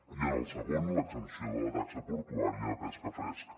i en el segon l’exempció de la taxa portuària de pesca fresca